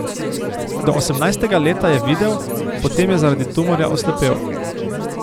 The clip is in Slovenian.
Do osemnajstega leta je videl, potem je zaradi tumorja oslepel.